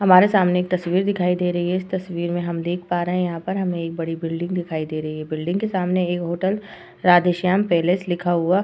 हमारे सामने एक तस्वीर दिखाई दे रही है। इस तस्वीर में हम देख पा रहे हैं यहाँ पर हमे एक बड़ी बिल्डिंग दिखाई दे रही है। बिल्डिंग के सामने एक होटल राधेश्याम पैलेस लिखा हुआ --